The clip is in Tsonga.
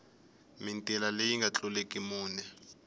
mitila leyi nga tluliki mune